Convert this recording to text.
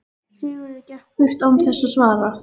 Sigurður gekk burt án þess að svara.